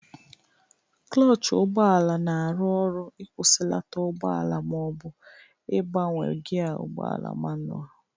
Klọch ụgbọala na-arụ ọrụ ịkwụsịlata ụgbọala ma ọ bụ ịbanwe gịa ụgbọala manụal